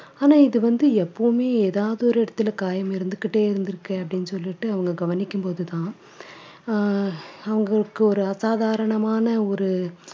ஆனா இது வந்து எப்பவுமே எதாவது ஒரு இடத்துல காயம் இருந்துக்கிட்டே இருந்திருக்கு அப்படின்னு சொல்லிட்டு அவங்க கவனிக்கும் போதுதான் அஹ் அவங்களுக்கு ஒரு அசாதாரணமான ஒரு